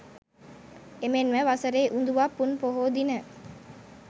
එමෙන්ම වසරේ උඳුවප් පුන් පොහෝ දින